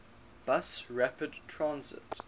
bus rapid transit